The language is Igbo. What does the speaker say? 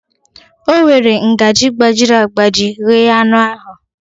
O were ngaji gbajiri agbaji nyee anụ ahụ